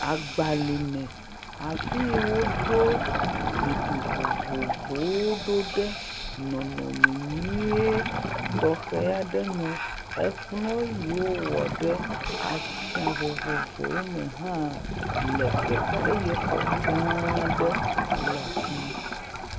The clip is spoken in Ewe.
Agbalime. Afi yi woɖo zikpi vovovowo ɖo ɖe nɔnɔme nyuie tɔxɛ aɖe nu. Ekplɔ̃ yi wowɔ ɖe atsiã vovovowo me hã le teƒea eye xɔ gã aɖe le fi ma.